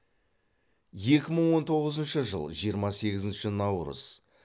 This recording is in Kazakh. екі мың он тоғызыншы жыл жиырма сегізінші наурыз